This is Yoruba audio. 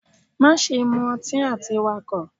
Maṣe mu ọtí ati Wakọ!